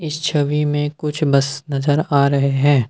छवि में कुछ बस नजर आ रहे हैं।